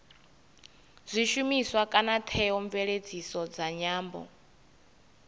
zwishumiswa kana theomveledziso dza nyambo